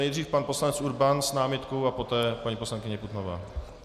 Nejdřív pan poslanec Urban s námitkou a poté paní poslankyně Putnová.